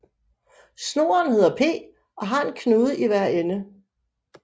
Snoren hedder P og har en knude i hver ende